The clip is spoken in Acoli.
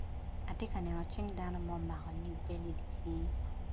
Atye ka neno cing dano ma omako idicinge.